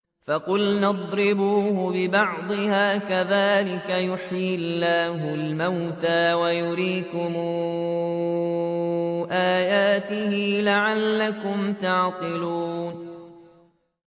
فَقُلْنَا اضْرِبُوهُ بِبَعْضِهَا ۚ كَذَٰلِكَ يُحْيِي اللَّهُ الْمَوْتَىٰ وَيُرِيكُمْ آيَاتِهِ لَعَلَّكُمْ تَعْقِلُونَ